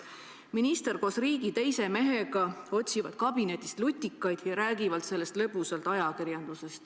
Minister otsib koos riigi teise mehega oma kabinetist lutikaid ja nad räägivad sellest lõbusalt ajakirjanduses.